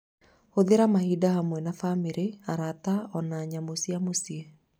Hũthĩra mahinda hamwe na bamĩrĩ, arata, o na nyamũ cia mũciĩ.